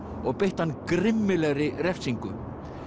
og beittu hann grimmilegri refsingu